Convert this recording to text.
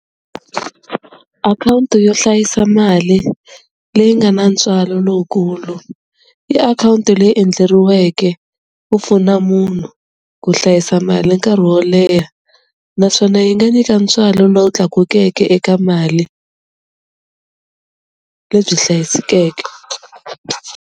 Akhawunti yo hlayisa mali leyi nga na ntswalo lowukulu i akhawunti leyi endleriweke ku pfuna munhu ku hlayisa mali nkarhi wo leha naswona yi nga nyika ntswalo lowu tlakukeke eka mali lebyi hlayisekeke.